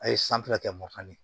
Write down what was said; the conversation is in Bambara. A ye san fila kɛ mafan de ye